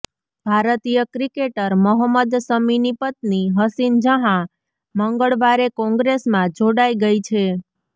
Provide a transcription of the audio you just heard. ભારતીય ક્રિકેટર મોહમ્મદ શમીની પત્ની હસીન જહાં મંગળવારે કોંગ્રેસમાં જોડાઈ ગઈ છે